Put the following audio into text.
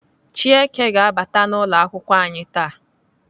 Chieke ga-abata n'ụlọakwụkwọ anyị taa.